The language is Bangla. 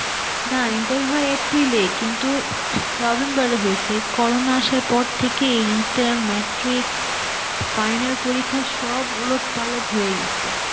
না inter হয় এপ্রিল এ কিন্তু November এ হয়েছে, corona আসার পর থেকে inter, matric, final পরীক্ষা সব উলটপালট হয়ে গেসে.